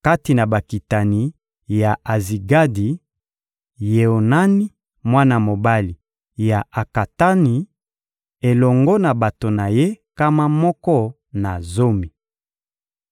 Kati na bakitani ya Azigadi: Yoanani, mwana mobali ya Akatani, elongo na bato na ye nkama moko na zomi.